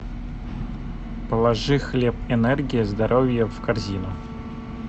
положи хлеб энергия здоровья в корзину